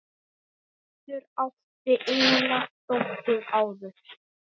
Hildur átti eina dóttur áður.